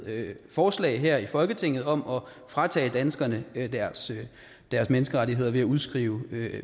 forslag her i folketinget om at fratage danskerne deres menneskerettigheder ved at udskrive